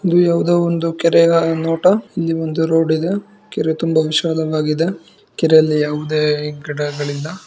ಇಲ್ಲಿ ಯಾವುದೋ ಒಂದು ಕೆರೆಯ ನೋಟ ಕೆರೆ ತುಂಬಾ ವಿಶಾಲವಾಗಿದೆ ಕೆರೆಯಲ್ಲಿ ಯಾವುದೇ ಈ ಕಡೆ ಆ ಕಡೆ ಇಲ್ಲ.